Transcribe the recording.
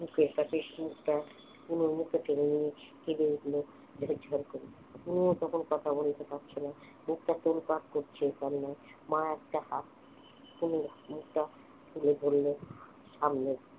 বুকের কাছে অনুর মুখটা টেনে নিয়েছে কেঁদে উঠলো ঝরঝর করে। অনুর তখন কথা বলতে পারছে না বুকটা তোর পার করছে কান্নায়, মা একটা হাত অনুর মুখটা টেনে ধরল সামনে